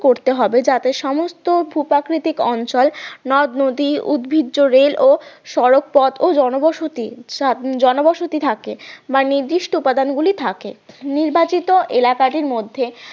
করতে হবে যাতে সমস্ত ভু প্রাকৃতিক অঞ্চল নদনদী উদ্ভিজ রেল সড়ক পথ ও জনবসতি জনবসতি থাকে বা নির্দিষ্ট উপাদানগুলি থাকে নির্বাচিত এলাকাটির মধ্যে